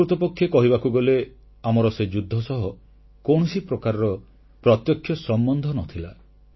ପ୍ରକୃତପକ୍ଷେ କହିବାକୁ ଗଲେ ଆମର ସେ ଯୁଦ୍ଧ ସହ କୌଣସି ପ୍ରକାରର ପ୍ରତ୍ୟକ୍ଷ ସମ୍ବନ୍ଧ ନ ଥିଲା